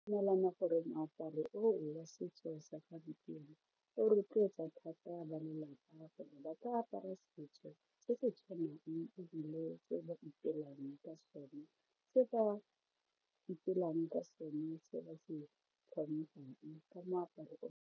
Gore moaparo wa setso sa gampieno o rotloetsa thata ba lelapa gore ba ka apara setso se se tshwanang ebile ba ipelang ke sone ke sone se ba se tlhophang ka moaparo.